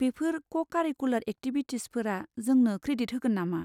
बेफोर co-curricular एक्टिबभिटिसफोरा जोंनो क्रेडिट होगोन नामा?